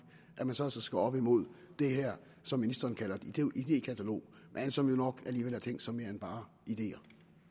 og så altså skal op imod det her som ministeren kalder et idékatalog men som jo nok alligevel er tænkt som mere end bare ideer